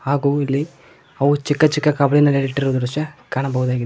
ಹಾಗೂ ಇಲ್ಲಿ ಅವು ಚಿಕ್ಕ ಚಿಕ್ಕ ಕಬರಿ ನಲ್ಲಿ ಇಟ್ಟಿರುವ ದೃಶ್ಯ ಕಾಣಬಹುದಾಗಿ --